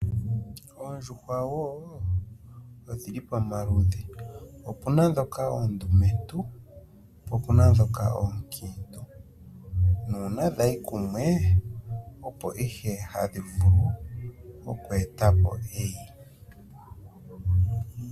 Oondjuhwa odhili pamaludhi wo. Opuna dhoka oondumentu noonkiitu, nuuna dhayi kumwe opo ihe hadhi vulu okwe eta po eyi.